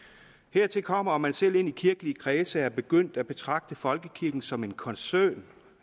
hertil kommer at man selv ind i kirkelige kredse er begyndt at betragte folkekirken som en koncern